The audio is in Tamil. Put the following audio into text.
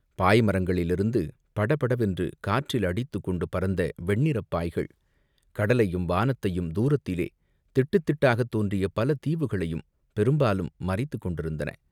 பாய்மரங்களிலிருந்து படபடவென்று காற்றில் அடித்துக்கொண்டு பறந்த வெண்ணிறப் பாய்கள், கடலையும் வானத்தையும் தூரத்திலே திட்டுத் திட்டாகத் தோன்றிய பல தீவுகளையும் பெரும்பாலும் மறைத்துக் கொண்டிருந்தன.